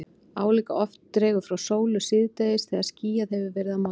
Álíka oft dregur frá sólu síðdegis þegar skýjað hefur verið að morgni.